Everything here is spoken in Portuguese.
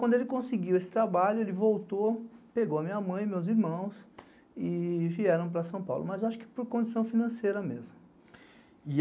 Quando ele conseguiu esse trabalho, ele voltou, pegou a minha mãe e meus irmãos e vieram para São Paulo, mas acho que por condição financeira mesmo.